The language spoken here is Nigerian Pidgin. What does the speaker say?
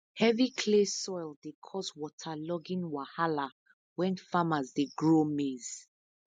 heavy clay soil dey cause waterlogging wahala when farmers dey grow maize